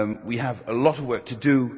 We have a lot of work to do.